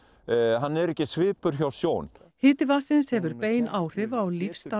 hann er ekki svipur hjá sjón hiti vatnsins hefur bein áhrif á